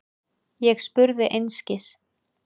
Ég spurði einskis.